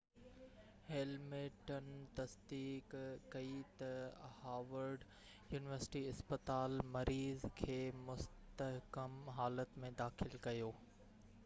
Hamilton تصديق ڪئي ته هاورڊ يونيورسٽي اسپتال مريض کي مستحڪم حالت ۾ داخل ڪيو